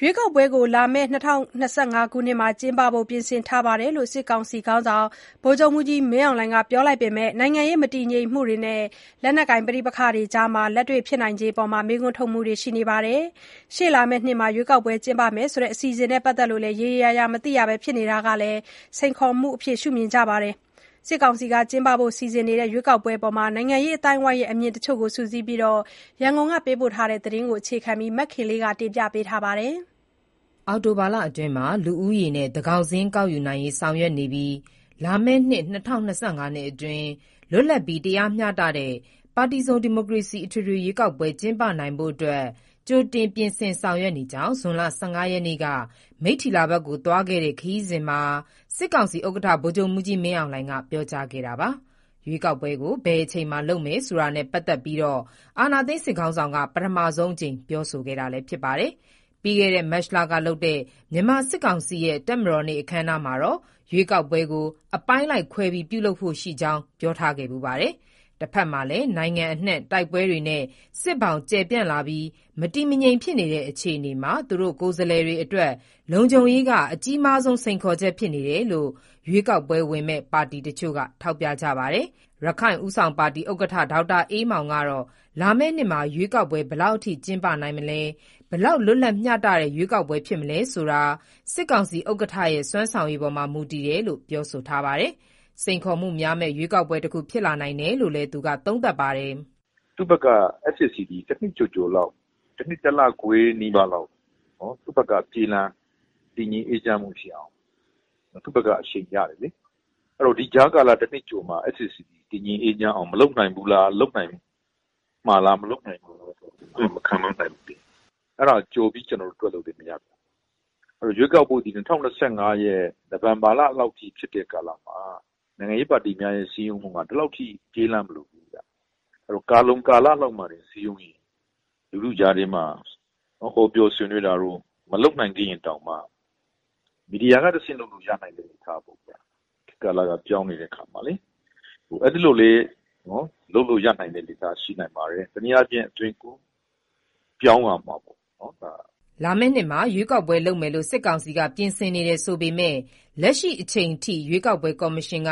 ရွေးကောက်ပွဲကို လာမယ့် ၂၀၂၅ ခုနှစ်မှာ ကျင်းပဖို့ ပြင်ဆင်ထားတယ်လို့စစ်ကောင်စီ ခေါင်းဆောင် ဗိုလ်ချုပ်မှူးကြီးမင်းအောင်လှိုင်က ပြောလိုက်ပေမဲ့ နိုင်ငံရေး မတည်ငြိမ်မှုတွေနဲ့ လက်နက်ကိုင် ပဋိပက္ခတွေကြား လက်တွေ့ ဖြစ်နိုင်ခြေအပေါ် မေးခွန်းတွေလည်း ရှိနေပါတယ်။ ရှေ့နှစ်မှာ ရွေးကောက်ပွဲ ကျင်းပမယ် ဆိုပေမဲ့ အစီအစဉ်နဲ့ ပတ်သက်လို့ ရေရေရာရာ မသိရပဲ ဖြစ်နေတာကလည်း စိန်ခေါ်မှုအဖြစ် မြင်ကြပါတယ်။ စစ်ကောင်စီ စီစဉ်နေတဲ့ ရွေးကောက်ပွဲအပေါ် နိုင်ငံရေးအသိုင်းအဝိုင်းရဲ့ အမြင်တချို့ကို စုစည်းပြီး ရန်ကုန်က သတင်းပေးပို့ထားတာကို အခြေခံပြီး မခင်လေး တင်ပြထားပါတယ်။ လာမည့်အောက်တိုဘာလအတွင်း လူဦးရေနဲ့ သန်းခေါင်စာရင်းကောက်ယူနိုင်ရေးဆောင်ရွက်နေပြီး လာမည့်နှစ် အတွင်း လွတ်လပ်ပြီး တရားမျှတတဲ့ ပါတီစုံဒီမိုကရေစီ အထွေထွေရွေးကောက်ပွဲ ကျင်းပနိုင်ဖို့ ကြိုတင်ပြင်ဆင်ဆောင်ရွက်နေကြောင်း ဇွန်လ ရက်နေ့က မိတ္ထီလာ ဘက်ကိုသွားခဲ့တဲ့ ခရီးစဉ်မှာ စစ်ကောင်စီဥက္ကဋ္ဌ ဗိုလ်ချုပ်မှူးကြီးမင်းအောင်လှိုင်က ပြောကြားခဲ့တာပါ။ ရွေးကောက်ပွဲကို ဘယ်အချိန်မှာ လုပ်မယ်ဆိုတာနဲ့ ပတ်သက်လို့ အာဏာသိမ်းခေါင်းဆောင်ကပထမဆုံး အကြိမ်ပြောဆိုခဲ့တာပါ။ ပြီးခဲ့တဲ့ မတ်လကပြုလုပ်တဲ့ မြန်မာစစ်ကောင်စီရဲ့ တပ်မတော်နေ့အခမ်းအနားမှာတော့ ရွေးကောက်ပွဲကို အပိုင်းလိုက်ခွဲပြီး ပြုလုပ်ဖို့ရှိကြောင်း ပြောဆိုထားခဲ့ဖူးပါတယ်။ တဘက်မှာလည်း နိုင်ငံအနှံ့ တိုက်ပွဲတွေနဲ့ စစ်ဘောင်ကျယ်ပြန့်လာပြီး မတည်မငြိမ်ဖြစ်နေတဲ့ အခြေအ နေမှာ သူတို့ကိုယ်စားလှယ်တွေအတွက် လုံခြုံရေးကအကြီးမားဆုံး စိန်ခေါ်ချက်ဖြစ်နေတယ်လို့ ရွေးကောက်ပွဲဝင်မယ့် ပါတီတချို့က ထောက်ပြကြပါတယ်။ ရခိုင့်ဦးဆောင်ပါတီဥက္ကဋ္ဌ ဒေါက်တာအေးမောင်ကတော့ လာမယ့်နှစ်မှာ ရွေးကောက်ပွဲ ဘယ်လောက်ထိ ကျင်းပနိုင်မလဲ ၊ ဘယ်လောက်လွတ် လပ်မျှတတဲ့ရွေးကောက်ပွဲဖြစ်မလဲဆိုတာ စစ်ကောင်စီဥက္ကဋ္ဌရဲ့ စွမ်းဆောင်ရည်ပေါ်မှာမူတည်တယ်လို့ ပြောဆိုလိုက်ပါတယ်။ စိန်ခေါ်မှုများမယ့် ရွေးကောက်ပွဲတခုဖြစ်လာနိုင်တယ်လို့ သူက သုံးသပ်ပါတယ်။ "သူ့ဘက်က တနှစ်ကျော်ကျော်လောက် တနှစ်တစ်လခွဲနီးပါးလောက် သူ့ဘက်က ပြင်တာ တည်ငြိမ်အေးချမ်းမှုရှိအောင် သူ့ဘက်က အချိန်ရတယ်လေ။ အဲဒီတော့ ဒီကြားကာလတနှစ်ကျော်မှာ တည်ငြိမ်အေးချမ်းအောင် လုပ်နိုင်မှာလား၊ မလုပ်နိုင်ဘူးလား ကျွန်တော်တို့ မခန့်မှန်းနိုင်ဘူးလေ။ အဲဒါကြိုပြီး ကျွန်တော်တို့ တွက်လို့လည်း မရပါဘူး။ အဲဒီတော့ ရွေးကောက်ပွဲသည် ၂၀၂၅ရဲ့ နိုဝင်ဘာလလောက်ထိ ဖြစ်တဲ့ကာလမှာ နိုင်ငံရေးပါတီများရဲ့ စည်းရုံးမှုဟာ ဒီလောက်ထိ အချိန်ကြာကြာ မလိုဘူးဗျ။ အဲတော့ ကာလုံကာလလောက်မှာတင် စည်းရုံးရင် လူထုကြားထဲမှာ ဟောပြောဆွေးနွေးတာတို့ မလုပ်နိုင်သေးရင်တောင်မှ မီဒီယာကတဆင့်လုပ်နိုင်မယ် ထားပေါ့ဗျာ။ ခေတ်ကာလကပြောင်းနေတဲ့အခါမှာလေ။ အဲဒီလိုလေး လုပ်လို့ရနိုင်တဲ့အနေထားရှိနိုင်ပါတယ်။ တနည်းအားဖြင့် အသွင် ကူပြောင်းလာမှာပေါ့။" လာမယ့်နှစ်မှာ ရွေးကောက်ပွဲလုပ်မယ်လို့ စစ်ကောင်စီက ပြင်ဆင်နေတယ်ဆိုပေမဲ့ လက်ရှိချိန်ထိ ရွေးကောက်ပွဲ ကော်မရှင်က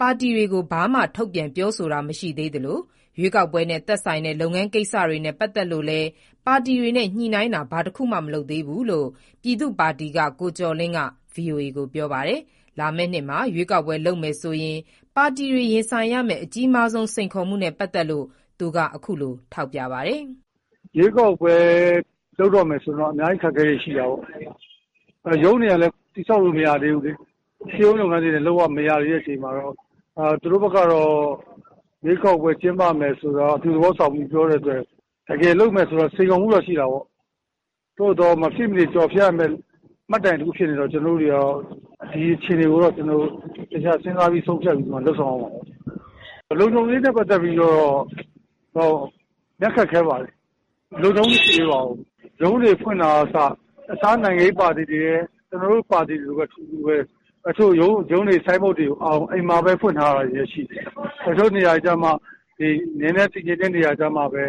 ပါတီတွေကို ဘာမှထုတ်ပြန်ပြောဆိုတာမရှိသလို ရွေးကောက်ပွဲနဲ့ သက်ဆိုင်တဲ့ လုပ်ငန်းကိစ္စတွေနဲ့ပတ်သက်လို့လည်း ပါတီ တွေနဲ့ ညှိုနှိုင်းတာဘာတခုမှမလုပ်သေးဘူးလို့ ပြည်သူ့ပါတီက ကိုကျော်လင်းက ဗွီအိုအေကို ပြောပါတယ်။ လာမယ့်နှစ်မှာ ရွေးကောက်ပွဲလုပ်မယ်ဆိုရင်ပါတီတွေ ရင်ဆိုင်ရမယ့် အကြီးမားဆုံး စိန်ခေါ်မှုနဲ့ပတ်သက်လို့ သူက အခုလို ထောက်ပြပါတယ်။ "ရွေးကောက်ပွဲလုပ်တော့မယ်ဆိုရင်တော့ အများကြီးအခက်အခဲတွေရှိတာပေါ့။ ရုံးတွေကလည်း တည်ဆောက်လို့ မရသေးဘူးလေ။ ရှေးဦးလုပ်ငန်းစဉ်တွေလည်း မရသေးတဲ့အခါမှာတော့ သူတို့ဘက်ကတော့ ရွေးကောက်ပွဲကျင်းပမယ်ဆိုတာ အပြုသဘောဆောင်ပြောတဲ့အတွက် တကယ်လုပ်မယ်ဆို စိန်ခေါ်မှုတော့ ရှိတာပေါ့။ သို့သော် မဖြစ်မနေကျော်ဖြတ်ရမယ့် မှတ်တိုင်တခုဖြစ်နေတော့ ဒီအခြေအနေကိုတော့ ကျွန်တော်တို့ သေချာစဉ်းစားပြီး ဆုံးဖြတ်ပြီးမှ လုပ်ဆောင်ရမှာဖြစ်ပါတယ်။ လုံခြုံရေးနဲ့ပတ်သက်ပြီးတော့ အရမ်းခက်ခဲပါတယ်။ လုံခြုံမှုမရှိသေးပါဘူး။ ရုံးတွေဖွင့်တာက အစ၊ တခြားနိုင်ငံရေးပါတီတွေလည်း ကျွန်တော်တို့ပါတီလိုပဲ အတူတူပဲ တချို့ ရုံးတွေ ဆိုင်းဘုတ်တွေကို အိမ်မှာပဲ ဖွင့်ထားရတာရှိတယ်။ တချို့နေရာတွေကျမှ နည်းနည်းတည်ငြိမ်တဲ့နေရာတွေကျမှပဲ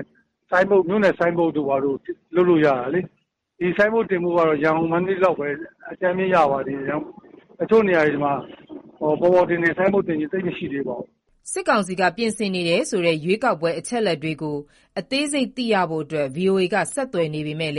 မြို့နယ်ဆိုင်းဘုတ်တို့ဘာတို့ လုပ်လို့ရတာလေ။ ဒီဆိုင်းဘုတ်တင်ဖို့ကတော့ ရန်ကုန်၊ မန္တလေးလောက်ပဲ အကြမ်းဖျဉ်းရပါသေးတယ်။ တချို့နေရာတွေမှာ ပေါ်ပေါ်တင်တင်ဆိုင်းဘုတ်တင်ခြင်း သိပ်မရှိသေးပါဘူး။" စစ်ကောင်စီက ပြင်ဆင်နေတယ်ဆိုတဲ့ ရွေးကောက်ပွဲ အချက်အလက်တွေကို အသေးစိတ်သိရဖို့ ဗွီအိုအေက ဆက်သွယ်နေ ပေမယ့်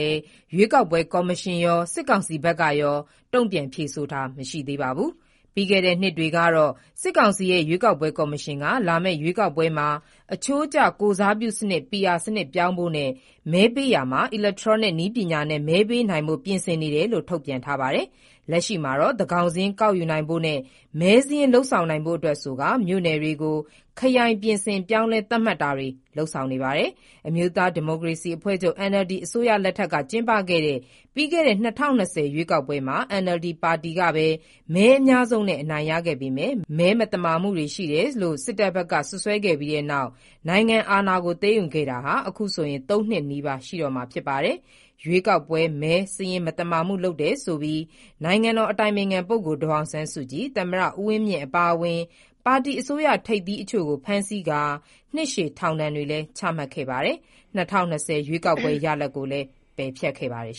ရွေးကောက်ပွဲကော်မရှင်ရော၊ စစ်ကောင်စီ ဘက်ကရော တုံပြန်ဖြေဆိုတာမရှိသေးပါဘူး။ ပြီးခဲ့တဲ့နှစ်တွေကတော့ စစ်ကောင်စီရဲ့ရွေးကောက်ပွဲကော်မရှင်က လာမယ့်ရွေးကောက်ပွဲမှာ အချိုးကျကိုယ်စားပြုစနစ် PR စနစ်ပြောင်းဖို့နဲ့ မဲပေးရာမှာ အီလက်ထရောနစ်နည်းပညာနဲ့ မဲပေးနိုင်ဖို့ တွေပြင်ဆင်နေတယ်လို့ ထုတ်ပြန်ထားပါတယ်။ လက်ရှိမှာတော့ သန်းခေါင်စာရင်းကောက်ယူနိုင်ဖို့နဲ့ မဲစာရင်းလုပ်ဆောင်နိုင်ဖို့အတွက်ဆိုကာ မြို့နယ်တွေကို ခရိုင်ပြင်ဆင်ပြောင်းလဲသတ်မှတ်တာတွေ လုပ်ဆောင်နေပါတယ်။ အမျိုးသားဒီမိုကရေစီအဖွဲ့ချုပ် NLD အစိုးရလက်ထက်ကျင်းပခဲ့တဲ့ ပြီးခဲ့တဲ့ ၂ဝ၂ဝ ပြည့်နှစ်ရွေးကောက်ပွဲမှာNLD ပါတီကဘဲ မဲအများဆုံးနဲ့ အနိုင်ရခဲ့ပေမယ့် မဲမသမာမှုတွေရှိခဲ့တယ်လို့ စစ်တပ်ဘက်က စွပ်စွဲပြီးနောက် နိုင်ငံအာဏာကို သိမ်းယူခဲ့တာ ခုဆို ၃နှစ်နီးပါးရှိတော့မှာဖြစ်ပါတယ်။ ရွေးကောက်ပွဲ မဲစာရင်းမသမာမှုလုပ်တယ်ဆိုပြီး နိုင်ငံအတိုင်ပင်ခံပုဂ္ဂိုလ် ဒေါ်အောင်ဆန်းစုကြည်၊ သမ္မတဦးဝင်းမြင့် အပါအဝင် ပါတီအစိုးရထိပ်သီးအချို့ကို ဖမ်းဆီးကာနှစ်ရှည်ထောင်ဒဏ်တွေချမှတ်ခဲ့ပါတယ်။ ၂၀၂၀ ရွေးကောက်ပွဲရလဒ်ကိုလည်း ပယ်ဖျက်ခဲ့ပါတယ်